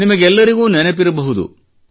ನಿಮಗೆಲ್ಲರಿಗೂ ನೆನಪಿರಬಹುದು